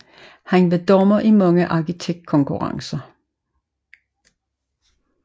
Han var dommer i mange arkitektkonkurrencer